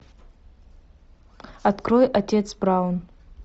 открой отец браун